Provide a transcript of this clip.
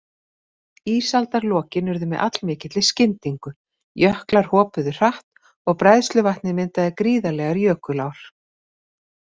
Ísaldarlokin urðu með allmikilli skyndingu, jöklar hopuðu hratt og bræðsluvatnið myndaði gríðarlegar jökulár.